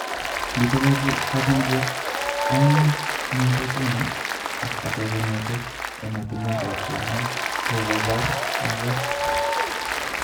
Mite kampunidiek aengu kongete China ak ake kongete ematunwek ab cherongo chekobor maket.